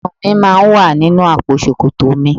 Ìyarun mi máa ń wà nínú àpò ṣòkòtò.